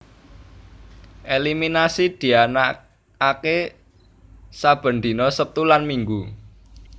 Eliminasi dianaaké saben dina Sabtu lan Minggu